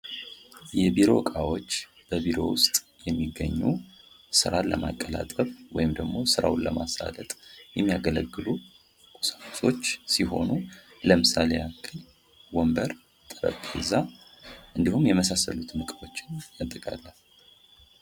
የቢሮ እቃዎች በቢሮ ውስጥ የሚገኙ ስራዎችን ለማቀላጠፍ ወይም ደግሞ ስራውን ለማሳለጥ የሚያገለግሉ ለምሳሌ ወንበር ጠረጴዛ እንዲሁም የመሳሰሉት ነገሮችን ያጠቃልላል።